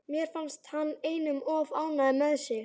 Mér finnst hann einum of ánægður með sig.